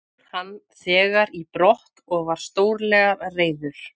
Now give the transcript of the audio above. Fór hann þegar í brott og var stórlega reiður.